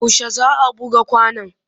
Yaushe za a buga kwanon?